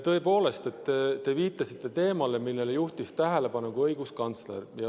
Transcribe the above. Tõepoolest, te viitasite teemale, millele juhtis tähelepanu ka õiguskantsler.